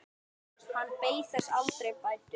Hann beið þess aldrei bætur.